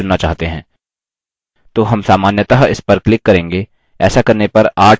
मानिए कि हम cloud चुनना चाहते हैं तो हम सामान्यतः इस पर click करेंगे